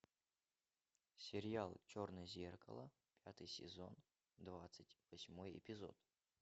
сериал черное зеркало пятый сезон двадцать восьмой эпизод